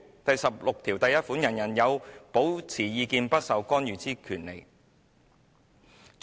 "第十六條第一款訂明："人人有保持意見不受干預之權利。